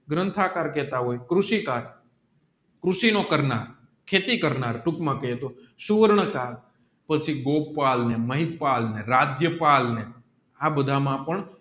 ગ્રંથ આકાર કેટ હોય કૃષિકાર કૃષિનો કરનાર ખેતી કરનાર ટુક માં કહે છે ગોપાલ ને મહિપાલને હૃદ્યપાલને આ બહામા પણ